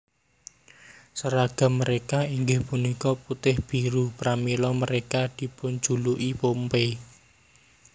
Sèragam mereka inggih punika putih biru pramila mereka dipunjuluki Pompey